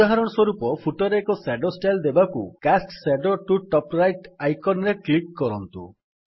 ଉଦାହରଣ ସ୍ୱରୂପ ଫୁଟର୍ ରେ ଏକ ସ୍ୟାଡୋ ଷ୍ଟାଇଲ୍ ଦେବାକୁ cast shadow to top right icon ରେ କ୍ଲିକ୍ କରନ୍ତୁ